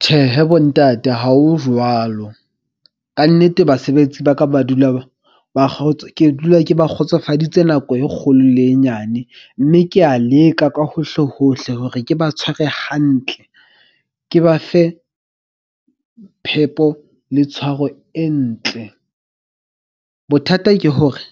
Tjhehe bontate, ha ho jwalo kannete basebetsi ba ka ba dula ba . Ke dula ke ba kgotsofaditse nako e kgolo le e nyane. Mme ke ya leka ka hohle hohle hore ke ba tshware hantle ke ba fe phepo le tshwaro e ntle. Bothata ke hore